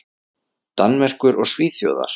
Danmerkur og Svíþjóðar.